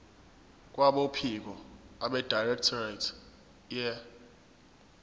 kwabophiko abedirectorate ye